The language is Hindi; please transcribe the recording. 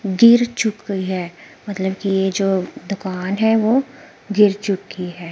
गिर चुकी है मतलब कि यह जो दुकान है वह गिर चुकी है।